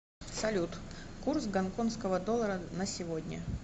салют курс гонконского доллара на сегодня